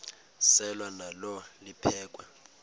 selwa nalo liphekhwe